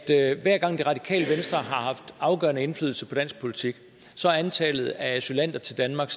hver gang det radikale venstre har haft afgørende indflydelse på dansk politik så er antallet af asylanter til danmark